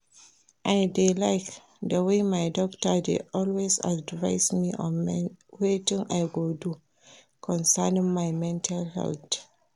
I dey like the way my doctor dey always advice me on wetin I go do concerning my mental health